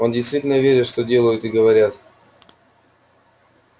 они действительно верят в то что делают и говорят